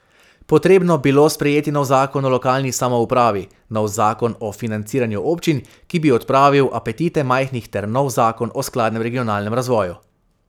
Potrebno bilo sprejeti nov zakon o lokalni samoupravi, nov zakon o financiranju občin, ki bi odpravil apetite majhnih ter nov zakon o skladnem regionalnem razvoju.